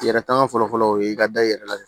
Yɛrɛ tanga fɔlɔ fɔlɔ o ye i ka da i yɛrɛ la